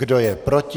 Kdo je proti?